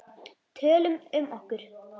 Tölum um okkur.